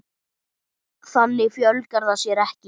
Þannig fjölgar það sér ekki.